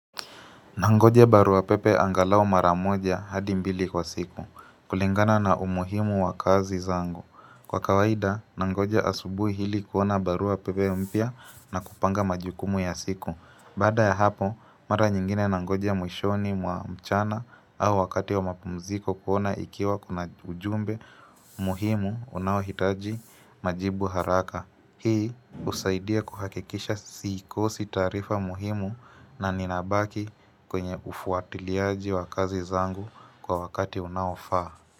Nangojea barua pepe angalau mara moja hadi mbili kwa siku, kulingana na umuhimu wa kazi zangu. Kwa kawaida, nangoja asubuh hili kuona barua pepe mpya na kupanga majukumu ya siku. Baada ya hapo, mara nyingine nangoja mwishoni mwa mchana au wakati wa mapumziko kuona ikiwa kuna ujumbe muhimu unaohitaji majibu haraka. Hii husaidia kuhakikisha sikosi taarifa muhimu na ninabaki kwenye ufuatiliaji wa kazi zangu kwa wakati unaofaa.